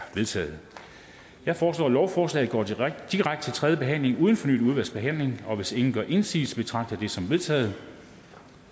vedtaget jeg foreslår at lovforslaget går direkte til tredje behandling uden fornyet udvalgsbehandling og hvis ingen gør indsigelse betragter jeg det som vedtaget